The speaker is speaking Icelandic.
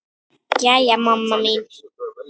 Jæja mamma mín.